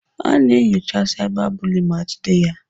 A na-enyocha cyberbully ma jide ya.